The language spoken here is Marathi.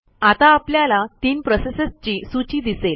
आता आपल्याला तीन प्रोसेसेसची सूची दिसेल